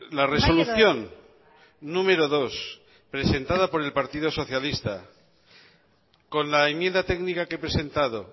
la resolución número dos presentada por el partido socialista con la enmienda técnica que he presentado